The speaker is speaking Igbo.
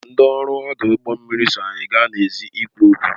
Ndị ọrụ ọdụ ụgbọ mmiri so anyị gaa n'èzí ịkwu okwu